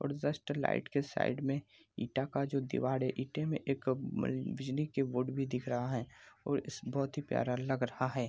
और just light के side में ईटा का जो दिवार है ईटें में एक बिजली का बोर्ड भी दिख रहा है और बहुत ही प्यारा लग रहा है।